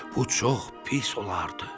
Bu çox pis olardı.